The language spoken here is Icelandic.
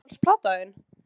Uppáhalds platan þín?